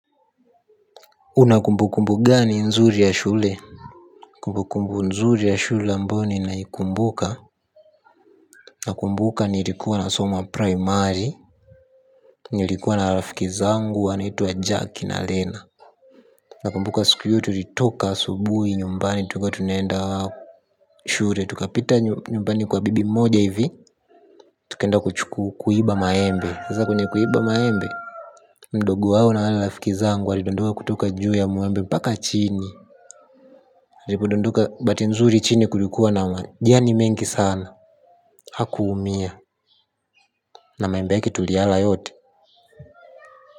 Una kumbukumbu gani nzuri ya shule? Kumbukumbu nzuri ya shule ambayo ninaikumbuka nakumbuka nilikuwa na soma primary. Nilikuwa na rafiki zangu anaitwa Jack na Lena. Nakumbuka siku hiyo tulitoka asubuhi nyumbani tilikuwa tunaenda shule. Tukapita nyumbani kwa bibi mmoja hivi. Tukaenda kuiba maembe. Sasa kwenye kuiba maembe ndugu hao na wale rafiki zangu walidondoka kutoka juu ya muembe mpaka chini walipodondoka bahati nzuri chini kulikuwa na majani mengi sana. Hakuumia na maembe yake tuliyala yote.